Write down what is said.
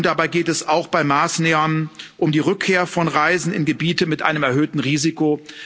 Und dabei geht es auch um Maßnahmen bei der Rückkehr von Reisen in Gebiete mit einem erhöhten Risiko.